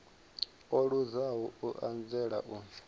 o luzaho u anzela u